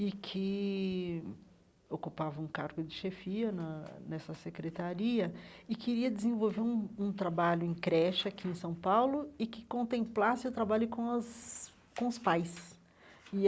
e que ocupava um cargo de chefia na nessa secretaria, e queria desenvolver um um trabalho em creche aqui em São Paulo e que contemplasse o trabalho com as com os pais.